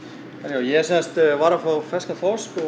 ég sem sagt var að fá ferskan þorsk og